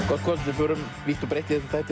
gott kvöld við förum vítt og breitt í þessum þætti